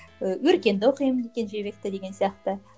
өркенді оқимын кенжебекті деген сияқты